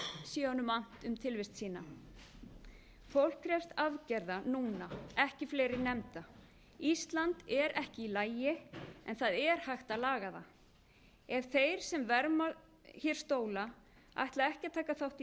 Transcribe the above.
sé honum annt um tilvist sína fólk krefst aðgerða núna ekki fleiri nefnda ísland er ekki í lagi en það er hægt að laga það ef þeir sem verma hér stóla ætla ekki að taka þátt